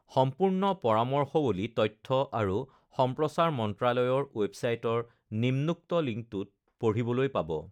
সম্পূৰ্ণ পৰামৰ্শৱলী তথ্য আৰু সম্প্ৰচাৰ মন্ত্ৰালয়ৰ ৱেৱছাইটৰ নিম্নোক্ত লিংকটোত পঢ়িবলৈ পাবঃ